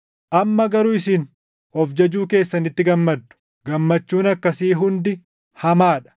Amma garuu isin of jajuu keessanitti gammaddu. Gammachuun akkasii hundi hamaa dha.